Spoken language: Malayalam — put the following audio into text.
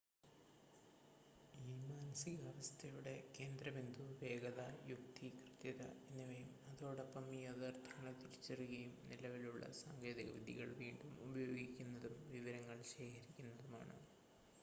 ഈ മാനസികാവസ്ഥയുടെ കേന്ദ്രബിന്ദു വേഗത യുക്തി കൃത്യത എന്നിവയും അതോടൊപ്പം യാഥാർത്ഥ്യങ്ങളെ തിരിച്ചറിയുകയും നിലവിലുള്ള സാങ്കേതിക വിദ്യകൾ വീണ്ടും ഉപയോഗിക്കുന്നതും വിവരങ്ങൾ ശേഖരിക്കുന്നതുമാണ്